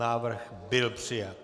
Návrh byl přijat.